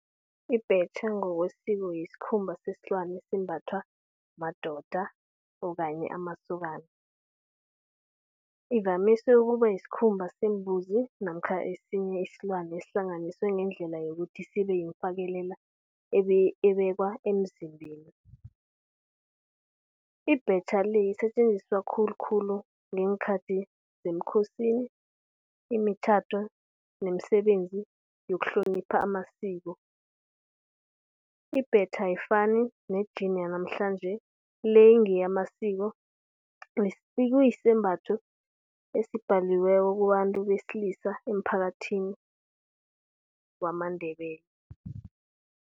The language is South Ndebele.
Ibhetjha ngokwesiko yisikhumba sesilwane esimbathwa madoda or kanye amasokana. Ivamise ukuba yisikhumba sembuzi namkha esinye isilwane esihlanganiswe ngendlela yokuthi sibe yifakekelela ebekwa emzimbeni. Ibhetjha le lisetjenziswa khulukhulu ngeenkhathi zemkhosini, imitjhado nemisebenzi yokuhlonipha amasiko. Ibhetjha ayifani ne-jean yanamhlanje le ngeyamasiko okusisembatho esibhaliweko kubantu besilisa emphakathini wamaNdebele.